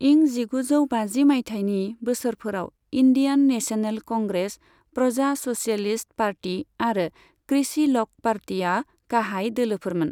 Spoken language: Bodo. इं जिगुजौ बाजि मायथाइनि बोसोरफोराव Indian National Congress, Praja socialist party आरो कृषि ल'क पार्टीआ गाहाय दोलोफोरमोन।